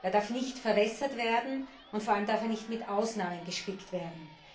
Er darf nicht verwässert werden, und vor allem darf er nicht mit Ausnahmen gespickt werden.